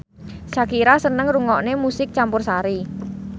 Shakira seneng ngrungokne musik campursari